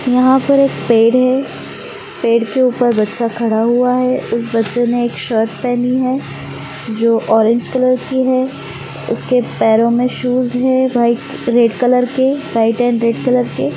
यहाँ पर एक पेड़ है। पेड़ के ऊपर बच्चा खड़ा हुआ है। उस बच्चे ने एक शर्ट पहनी है जो ऑरेंज कलर की है। उसके पैरो में शूज है व्हाईट रेड कलर के व्हाईट अँड रेड कलर के।